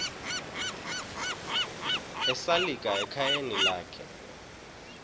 esalika ekhayeni lakhe